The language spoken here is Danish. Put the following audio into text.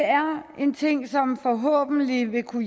en ting som forhåbentlig vil kunne